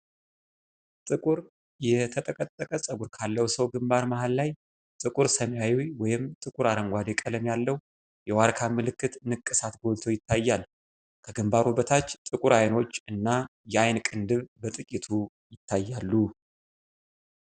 ጥቁር የተጠቀጠቀ ፀጉር ካለው ሰው ግንባር መሃል ላይ ጥቁር ሰማያዊ ወይም ጥቁር አረንጓዴ ቀለም ያለው የዋርካ ምልክት ንቅሳት ጎልቶ ይታያል። ከግንባሩ በታች ጥቁር አይኖች እና የዓይን ቅንድብ በጥቂቱ ይታያሉ።